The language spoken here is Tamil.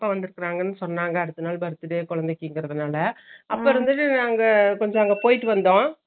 அப்பா வந்துருகாங்கனு சொன்னாங்க அடுத்தநாள் birthday குழந்தைக்குதரனால அப்பிடிக்ராபோது ஒரு கொஞ்சோ போய்ட்டுவந்தோ